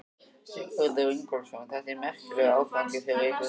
Sigurður Ingólfsson: Þetta er merkilegur áfangi fyrir ykkur hérna?